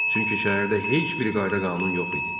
Çünki şəhərdə heç bir qayda-qanun yox idi.